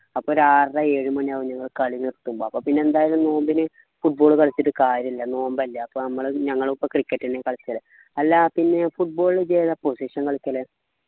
അപ്പൊ ഒരു ആറര ഏഴുമണി ആവും ഞങ്ങള് കളി നിർത്തുമ്പോ അപ്പൊ പിന്നെ എന്തായാലും നോമ്പിന് football കളിച്ചിട്ട് കാര്യമില്ല നോമ്പല്ലേ അപ്പൊ മ്മള് ഞങ്ങളും പ്പോ cricket എന്ന്യാ കളിക്കല് അല്ല പിന്നെ football ഇത് ഏതാ position കളിക്കല്